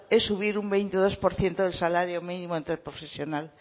es subir un veintidós por ciento del salario mínimo interprofesional